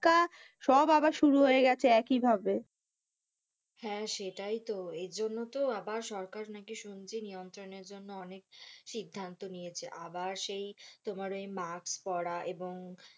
ধাক্কা সব আবার শুরু হয়ে গেছে এক ই ভাবে, হ্যাঁ, সেটাই তো এর জন্য তো আবার সরকার নাকি শুনছি নিয়ন্ত্রণের জন্য অনেক সিদ্ধান্ত নিয়েছে আবার সেই তোমার ওই মাস্ক পরা এবং,